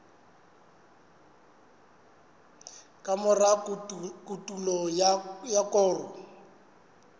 ka mora kotulo ya koro